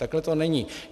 Takhle to není.